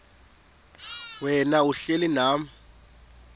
wena uhlel unam